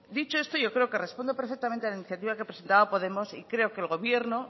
dicho esto yo creo que respondo perfectamente a la iniciativa que presentaba podemos y creo que el gobierno